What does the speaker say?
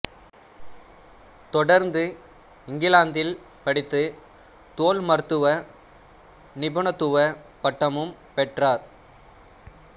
தொடர்ந்து இங்கிலாந்தில் படித்து தோல் மருத்துவ நிபுணத்துவ பட்டமும் பெற்றார்